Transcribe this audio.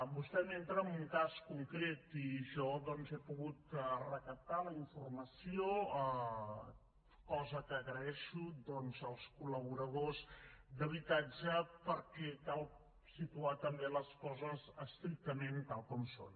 vostè m’entra en un cas concret i jo doncs he pogut recaptar la informació cosa que agraeixo doncs als col·laboradors d’habitatge perquè cal situar també les coses estrictament tal com som